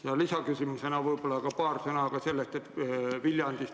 Ja lisaküsimusena, võib-olla ütlete paar sõna ka selle kohta, kuidas Viljandis ...